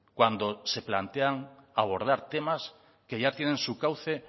cuando se plantean abordar temas que ya tienen su cauce